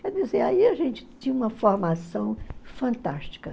Quer dizer, aí a gente tinha uma formação fantástica.